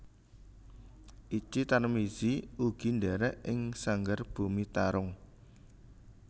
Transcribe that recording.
Itji Tarmizi ugi ndhèrèk ing Sanggar Bumi Tarung